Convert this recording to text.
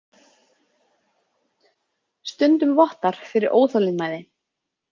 Stundum vottar fyrir óþolinmæði.